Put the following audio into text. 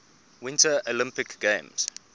winter olympic games